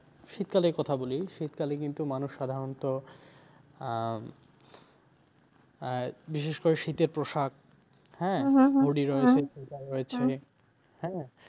শীতকালের কথা বলি শীতকালে কিন্তু মানুষ সাধারনত আহ আহ বিশেষ করে শীতের পোশাক, হ্যাঁ? হ্যাঁ?